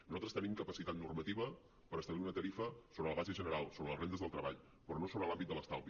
nosaltres tenim capacitat normativa per establir una tarifa sobre la base general sobre les rendes del treball però no sobre l’àmbit de l’estalvi